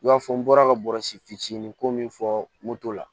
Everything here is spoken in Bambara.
I b'a fɔ n bɔra ka bɔrɔsi fitinin ko min fɔ moto la